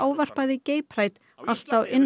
allt á innan við viku